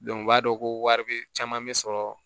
u b'a dɔn ko wari bɛ caman bɛ sɔrɔ